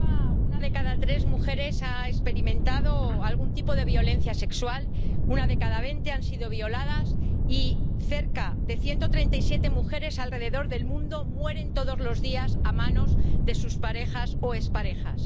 Señor presidente, en Europa una de cada tres mujeres ha experimentado algún tipo de violencia sexual, una de cada veinte ha sido violada y cerca de ciento treinta y siete mujeres alrededor del mundo mueren todos los días a manos de sus parejas o exparejas.